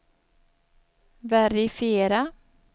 verifiera